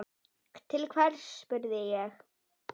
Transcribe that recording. Til hvers, spurði ég.